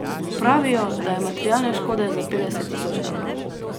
Pravijo, da je materialne škode za petdeset tisoč evrov.